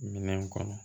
Minɛn kɔnɔ